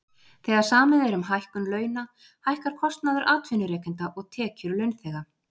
Þegar samið er um hækkun launa hækkar kostnaður atvinnurekenda og tekjur launþega.